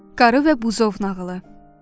Qarı və Buzov nağılı.